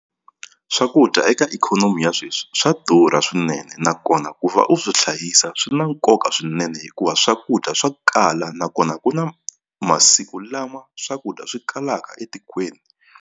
Swakudya eka ikhonomi ya sweswi swa durha swinene nakona ku va u swi hlayisa swi na nkoka swinene hikuva swakudya swa kala nakona ku na masiku lama swakudya swi kalaka etikweni.